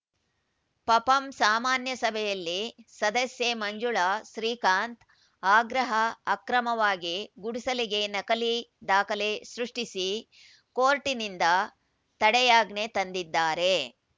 ಪಪಂ ಸಾಮಾನ್ಯ ಸಭೆಯಲ್ಲಿ ಸದಸ್ಯೆ ಮಂಜುಳಾ ಶ್ರೀಕಾಂತ್‌ ಆಗ್ರಹ ಅಕ್ರಮವಾಗಿ ಗುಡಿಸಲಿಗೆ ನಕಲಿ ದಾಖಲೆ ಸೃಷ್ಟಿಸಿ ಕೋರ್ಟಿನಿಂದ ತಡೆಯಾಜ್ಞೆ ತಂದಿದ್ದಾರೆ